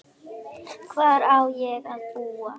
Hvar á ég að búa?